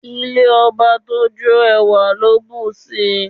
Ilé ọba tó jó, ẹwà ló bù sí i.